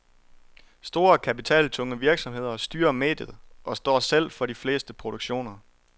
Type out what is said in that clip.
Store kapitaltunge virksomheder styrer mediet og står selv for de fleste produktioner.